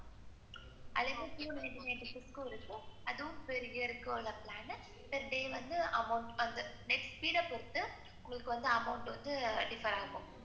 அதுலேந்து few minutes பேசறதுக்காக ஒரு plan amount வந்த பொறுத்து உங்களுக்கு வந்து amount differ ஆகும்.